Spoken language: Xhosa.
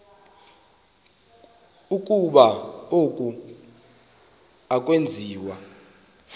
ukuba oku akwenziwa